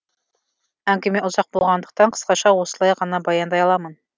әңгіме ұзақ болғандықтан қысқаша осылай ғана баяндай аламын